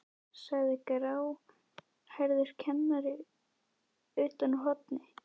sagði gráhærður kennari utan úr horni.